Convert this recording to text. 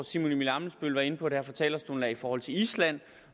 simon emil ammitzbøll var inde på det her fra talerstolen i forhold til island